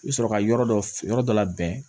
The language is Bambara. I bɛ sɔrɔ ka yɔrɔ dɔ yɔrɔ dɔ labɛn